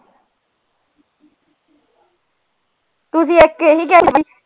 ਤੁਸੀਂ ਇਕ ਇਹੀ